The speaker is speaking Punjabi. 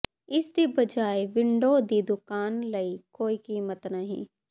ਇਸ ਦੀ ਬਜਾਏ ਵਿੰਡੋ ਦੀ ਦੁਕਾਨ ਲਈ ਕੋਈ ਕੀਮਤ ਨਹੀਂ